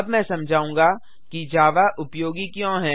मैं अब समझाऊँगा कि जावा उपयोगी क्यों है